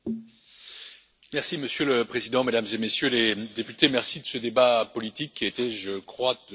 Monsieur le Président, Mesdames et Messieurs les députés, merci de ce débat politique qui a été, je crois, de grande qualité.